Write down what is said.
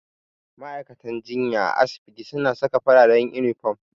Ma'aikatan jinya a asibiti suna saka fararen inifom.